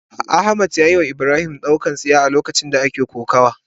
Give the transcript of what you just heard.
Ahmad yayiwa Ibrahim dukan tsiya a lokacin da ake kokawa.